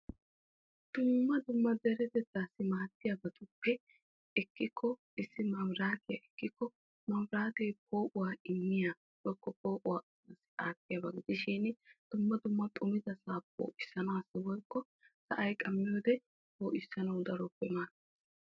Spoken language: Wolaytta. Dumma dumma deretettasi maaddiyabatuppe issi maabiratiya ekkiko, maabirate poo'uwaa immiya woykko poo'uwaa aattiyaa dumma dumma xumida